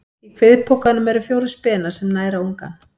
Í kviðpokanum eru fjórir spenar sem næra ungann.